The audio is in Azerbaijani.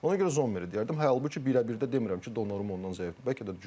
Ona görə Zommer deyərdim, halbuki birə-birdə demirəm ki, Donnarumma ondan zəifdir.